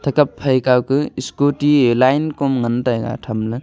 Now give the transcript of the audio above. eta phai kaw ke scooty e line kom ngan taiga tham le.